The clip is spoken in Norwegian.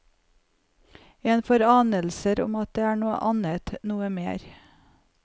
En får anelser om at det er noe annet, noe mer.